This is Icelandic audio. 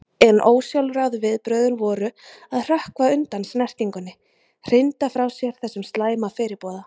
En ósjálfráðu viðbrögðin voru að hrökkva undan snertingunni, hrinda frá sér þessum slæma fyrirboða.